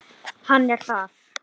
Hann er þar.